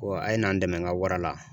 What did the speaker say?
a ye na n dɛmɛ n ka wara la